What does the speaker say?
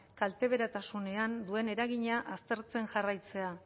kalteberatasunean duen eragina aztertzen jarraitzea